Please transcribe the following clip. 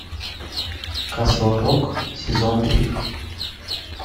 касл рок сезон три